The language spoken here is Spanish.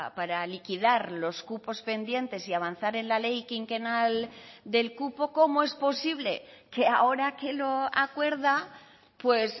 para liquidar los cupos pendientes y avanzar en la ley quinquenal del cupo cómo es posible que ahora que lo acuerda pues